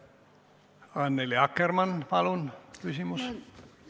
Annely Akkermann, palun küsimus!